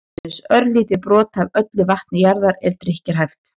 aðeins örlítið brot af öllu vatni jarðar er drykkjarhæft